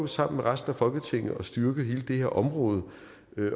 sammen med resten af folketinget at styrke hele det her område